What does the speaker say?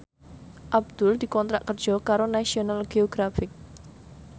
Abdul dikontrak kerja karo National Geographic